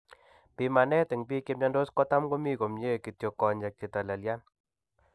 Pimanet en bik chemiandos kotam komi komnye, kityo konyek chetalelyan